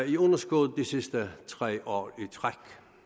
i underskud de sidste tre år i træk